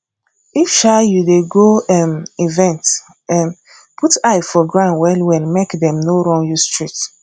if um you dey go um event um put eye for ground well well make dem no run you street